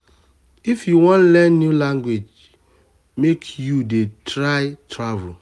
if um you wan learn new language make you um dey try um travel.